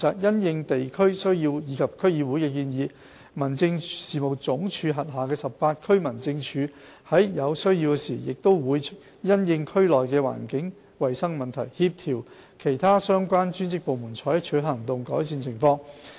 因應地區需要及區議會的建議，民政事務總署轄下18區民政處在有需要時亦會因應區內的環境衞生問題，協調其他相關專職部門採取行動，改善情況。